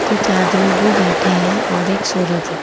कुछ आदमी भी बैठे हैं और एक सूरज है।